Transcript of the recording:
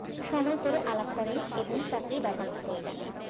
সময় করে আলাপ করেন এবং চাকরির বেবস্থা করে দেন